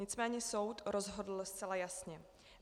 Nicméně soud rozhodl zcela jasně.